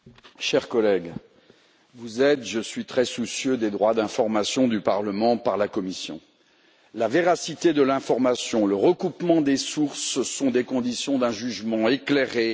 Monsieur le Président, chers collègues, vous êtes et je suis très soucieux des droits d'information du Parlement par la Commission. La véracité de l'information, le recoupement des sources sont les conditions d'un jugement éclairé.